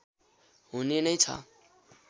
हुने नै छ